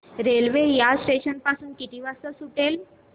railway या station पासून किती वाजता सुटते